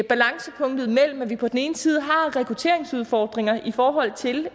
balancepunkt mellem at vi på den ene side har rekrutteringsudfordringer i forhold til